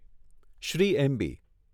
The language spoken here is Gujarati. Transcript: શ્રી એમબી